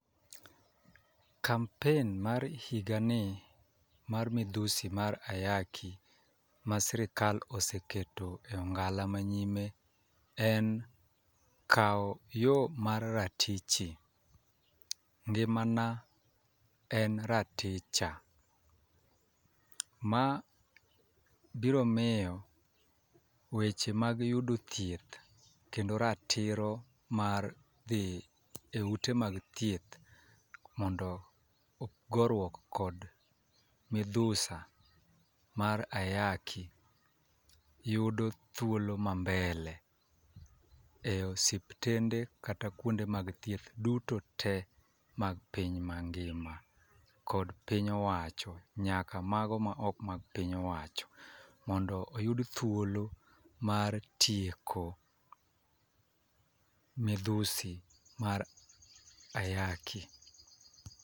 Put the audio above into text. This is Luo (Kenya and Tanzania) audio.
Kampen mar higani mar midhusi mar ayaki ma sirikal oseketo e ong'ala mayime en kaw yoo mar ratichi. Ngimana en raticha. Ma biro miyo weche mag yudo thieth kendo ratiro mar dhii eute mag thieth mondo ogoruok kod midhusa mar ayaki yudo thuolo ma mbele e osiptende kata kuonde mag thieth duoto te mag piny mangima. Kod piny owacho nyaka mago maok mag piny owacho mondo oyud thuolo mar tieko midhusi mar ayaki.